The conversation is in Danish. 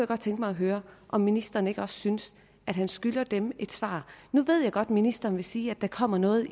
godt tænke mig at høre om ministeren ikke også synes at han skylder dem et svar nu ved jeg godt at ministeren vil sige at der kommer noget